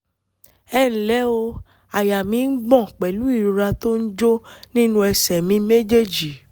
ẹ ǹlẹ́ o àyà mi ń gbọ̀n pẹ̀lú ìrora tó ń jó nínú ẹsẹ̀ mi méjèèjì